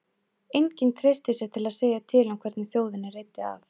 Enginn treysti sér til að segja til um, hvernig þjóðinni reiddi af.